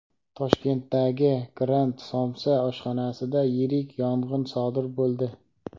Toshkentdagi "Grant somsa" oshxonasida yirik yong‘in sodir bo‘ldi.